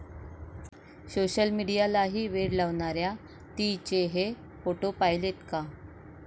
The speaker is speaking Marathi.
सोशलमीडियाला वेड लावणाऱ्या 'ती'चे हे फोटो पाहिलेत का?